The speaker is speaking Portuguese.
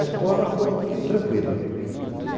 A escola foi tranquila.